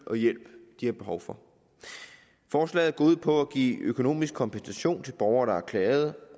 og hjælp de har behov for forslaget går ud på at give økonomisk kompensation til borgere der har klaget